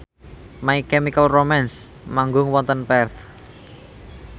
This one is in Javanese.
My Chemical Romance manggung wonten Perth